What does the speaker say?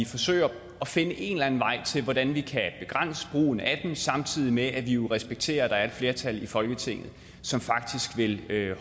forsøge at finde en eller anden vej til hvordan vi kan begrænse brugen af den samtidig med at vi jo respekterer at der er et flertal i folketinget som faktisk vil